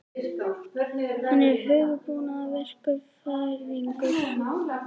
Hann er hugbúnaðarverkfræðingur.